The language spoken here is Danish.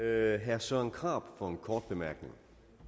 er herre søren krarup for en kort bemærkning